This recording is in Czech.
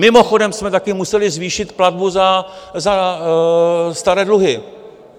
Mimochodem jsme taky museli zvýšit platbu za staré dluhy.